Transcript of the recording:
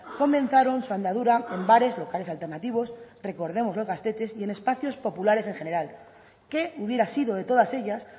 comenzaron su andadura en bares locales alternativos recordemos los gaztetxes y en espacios populares en general qué hubiera sido de todas ellas